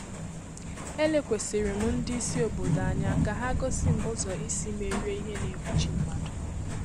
Ele kwesịrị m ndị ìsì óbodo ànyà ka hà gosi m ụzọ isi merie ìhè na-egbochi mmadụ.